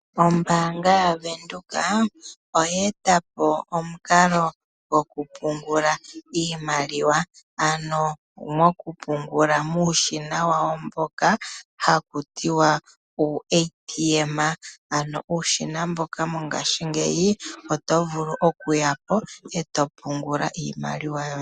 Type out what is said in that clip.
Ombaanga yaWindhoek oye eta po omukalo gwo kupungula iimaliwa, ano mo kupungula muushina wawo mboka haku tiwa uuATM, ano uushina mboka mongashingeyi otovulu okuya po eto pungula iimaliwa yoye.